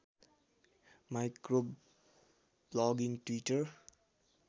micro blogging Twitter